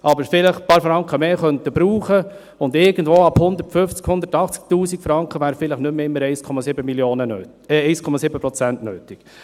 Irgendwann ab 150 000 oder 180 000 Franken wären vielleicht nicht mehr immer 1,7 Prozent nötig.